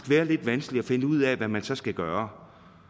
være lidt vanskeligt at finde ud af hvad man så skal gøre